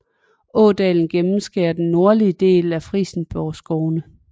Ådalen gennemskærer den nordlige del af Frijsenborgskovene